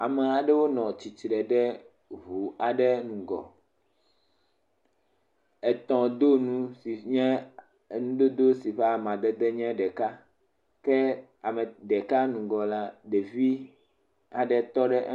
Ame aɖewo nɔ tsitre ɖe ŋu aɖe ŋgɔ, etɔdonu si nye enu dodo si ƒe amadede nye ɖeka ke ame ɖeka ŋgɔ la ɖevi aɖe tɔ ɖe.